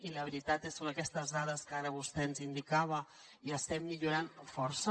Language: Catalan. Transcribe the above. i la veritat són aquestes dades que ara vostè ens indicava i estem millorant força